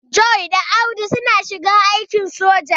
John da Audu suna shiga aikin soja.